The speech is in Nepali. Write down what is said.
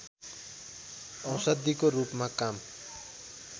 औषधिको रूपमा काम